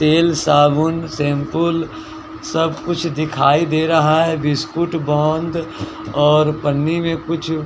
तेल साबुन शैम्पूल सब कुछ दिखाई दे रहा है बिस्कुट गोंद और पन्नी में कुछ --